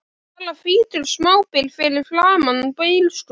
Bara hvítur smábíll fyrir framan bílskúrinn!